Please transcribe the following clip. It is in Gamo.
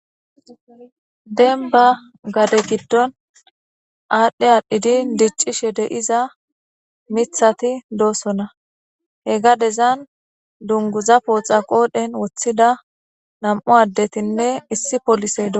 Demmba gade giddon adhi adhidi diccishe dizza miththati doosona he gadezan dungguza poxxa qodhdhen wothida nam'u addetinne issi polisey doosona.